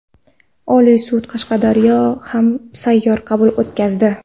Oliy sud Qashqadaryoda ham sayyor qabul o‘tkazdi.